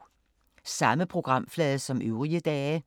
Samme programflade som øvrige dage